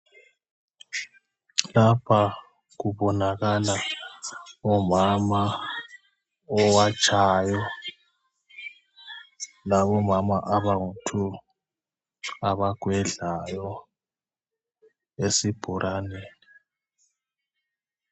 Lapha kubonakala umama owatshayo labomama abangu"two" abagwedlayo esibhoraneni.